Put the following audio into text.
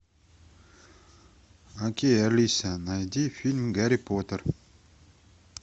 окей алиса найди фильм гарри поттер